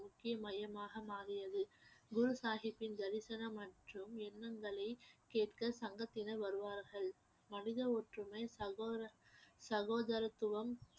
முக்கிய மையமாக மாறியது குரு சாஹிப்பின் தரிசனம் மற்றும் எண்ணங்களை கேட்க சங்கத்தினர் வருவார்கள் மனித ஒற்றுமை சகோர~ சகோதரத்துவம்